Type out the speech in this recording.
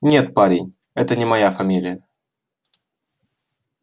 нет парень это не моя фамилия